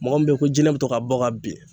Mɔgɔ min be ye ko jinɛ bi to k'a bɔ k'a bin